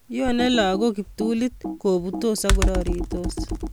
Yonei lagok kiptulit kobutos akororitos